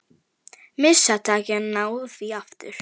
Missa takið en ná því aftur.